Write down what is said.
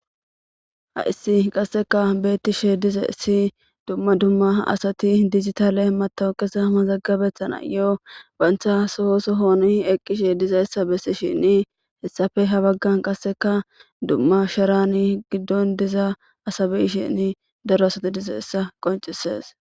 Haysi qaseka betishe dizays duma duma asati dijitale matoqeza mazagabetanayo banta Soho sohoni eqishe dizaysa besishen hesape ha bagan qaseka duma shara gidon diza asa be'ishen gidon daro asati dizaysa qonc'ses.